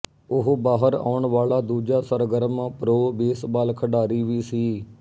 ਉਹ ਬਾਹਰ ਆਉਣ ਵਾਲਾ ਦੂਜਾ ਸਰਗਰਮ ਪ੍ਰੋ ਬੇਸਬਾਲ ਖਿਡਾਰੀ ਵੀ ਸੀ